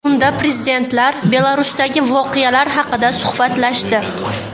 Unda prezidentlar Belarusdagi voqealar haqida suhbatlashdi.